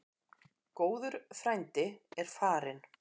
Góður frændi er farinn.